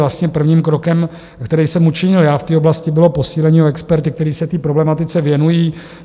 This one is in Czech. Vlastně prvním krokem, který jsem učinil já v té oblasti, bylo posílení o experty, kteří se té problematice věnují.